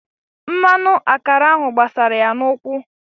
Mmanụ akara ahụ gbasara ya n'ụkwụ.